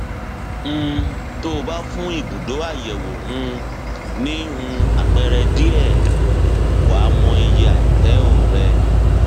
um tó o bá fún ibùdó àyẹwò um ní um àpẹẹrẹ díẹ wàá mọ iye ààtẹọ rẹ